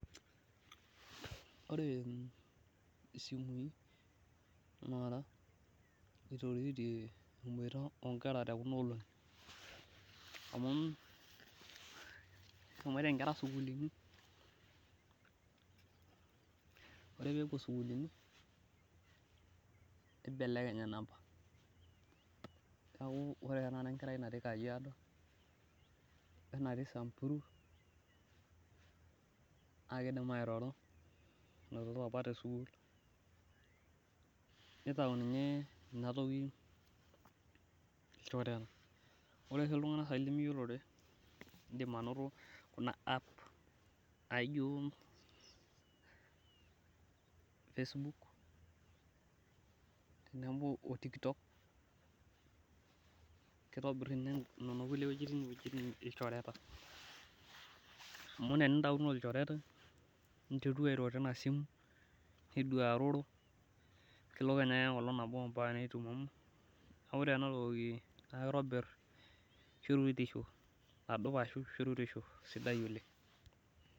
ore isimui taata eitoroyie emboita oo nkera kuna olongi amuu eshomoita inkera isukulini oree peyie epuo isukulini neibelekeny inampa neeku ore tanakata enkerai natii kajiado oo enatii samburu naa keidim airoro apa tesukul neitau inye ina toki shoreta ore oshi iltung`anak limiyiolore iindim anoto kuna app naijo facebook tenebo oo tiktok keitobir ninye nena kulie wejitin ilchoreta amuu ore inintauno oolchorete ninteru airo teina simuu niduaroro kelo kenya ake enkolong` nabo ompaka nitumomo oree ena toki naa keitobir shoruetisho adup ashu shoruetisho sidai oleng`.